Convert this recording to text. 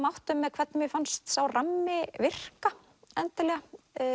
áttum með hvernig mér fannst sá rammi virka endilega